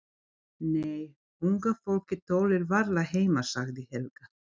Nei, unga fólkið tollir varla heima sagði Helga.